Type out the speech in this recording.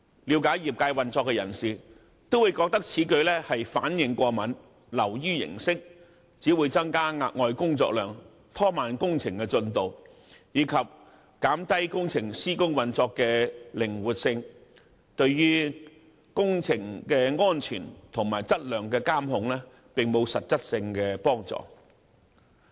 了解業界運作的人會認為這樣反應過敏，流於形式，只會增加額外的工作量，拖慢工程進度，以及減低工程施工運作的靈活性，對於工程的安全及質量的監控並無實質幫助。